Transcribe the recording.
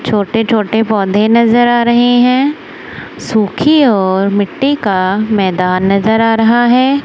छोटे छोटे पौधे नजर आ रहे हैं सुखी और मिट्टी का मैदान नजर आ रहा है।